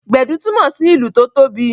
Gbedu túmọ sí ìlù tó tóbi